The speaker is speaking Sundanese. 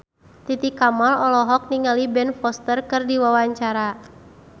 Titi Kamal olohok ningali Ben Foster keur diwawancara